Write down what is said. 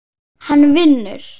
Hann vinnur.